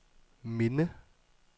minde